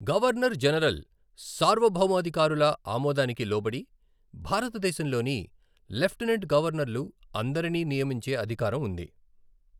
Governor general, సార్వభౌమాధికారుల ఆమోదానికి లోబడి భారతదేశంలోని లెఫ్టినెంట్ గవర్నర్లు అందరిని నియమించే అధికారం ఉంది.